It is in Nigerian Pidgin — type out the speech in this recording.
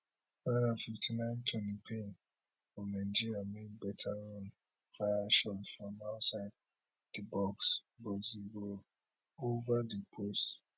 four and fifty nine toni payne of nigeria make beta run fire shot from outside di box but e go over di post